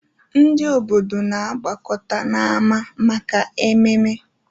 Ndị obodo na-agbakọta n'ámá maka ememe.